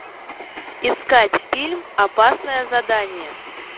искать фильм опасное задание